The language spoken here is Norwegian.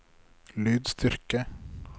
lydstyrke